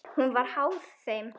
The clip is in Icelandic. Hún var háð þeim.